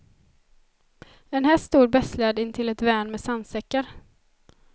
En häst stod betslad intill ett värn med sandsäckar.